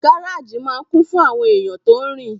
Gáràjì máa n kún fún àwọn èèyàn tó rin